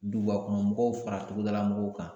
Dugubakɔnɔmɔgɔw fara togodalamɔgɔw kan